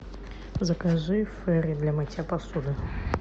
закажи фейри для мытья посуды